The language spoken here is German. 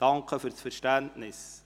Ich danke ihm für das Verständnis.